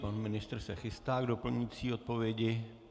Pan ministr se chystá k doplňující odpovědi.